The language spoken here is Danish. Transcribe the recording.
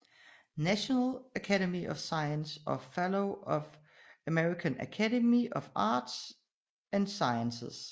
National Academy of Sciences og Fellow af American Academy of Arts and Sciences